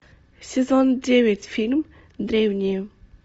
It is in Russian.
сезон девять фильм древние